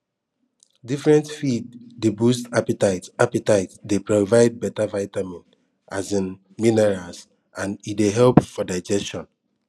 different feeds dey boost appetite appetite dey provide better vitamin um minerals and dey help for digestion